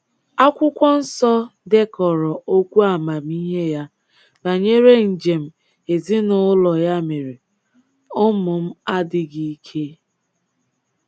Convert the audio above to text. Akwụkwọ Nsọ dekọrọ okwu amamihe ya banyere njem ezinụụlọ ya mere: “ Ụmụ m adịghị ike...